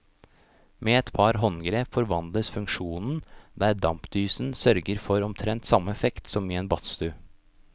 Med et par håndgrep forvandles funksjonen, der dampdysen sørger for omtrent samme effekt som i en badstue.